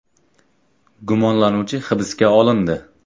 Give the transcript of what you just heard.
Gumonlanuvchi hibsga olindi.